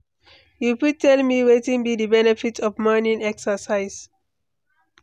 you fit tell me wetin be di benefit of morning exercise?